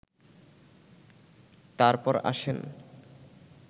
তারপর আসেন